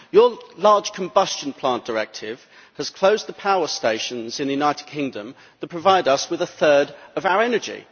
The Large Combustion Plant Directive has closed the power stations in the United Kingdom that provide us with a third of our energy.